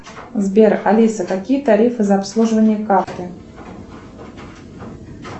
сбер алиса какие тарифы за обслуживание карты